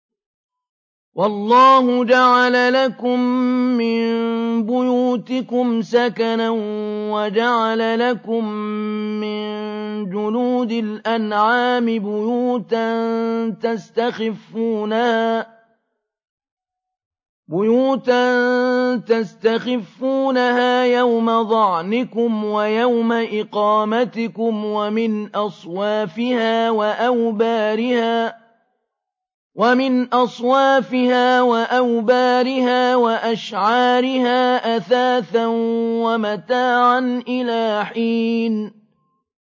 وَاللَّهُ جَعَلَ لَكُم مِّن بُيُوتِكُمْ سَكَنًا وَجَعَلَ لَكُم مِّن جُلُودِ الْأَنْعَامِ بُيُوتًا تَسْتَخِفُّونَهَا يَوْمَ ظَعْنِكُمْ وَيَوْمَ إِقَامَتِكُمْ ۙ وَمِنْ أَصْوَافِهَا وَأَوْبَارِهَا وَأَشْعَارِهَا أَثَاثًا وَمَتَاعًا إِلَىٰ حِينٍ